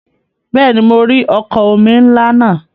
Bẹ́ẹ̀ni, mo rí ọkọ̀ omi ńlá náà.